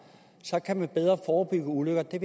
kan man bedre forebygge ulykker jeg